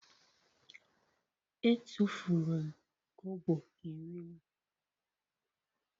E tụfuru m kobo iri m.